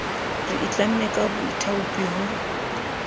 re itlamme ka boithaopi ho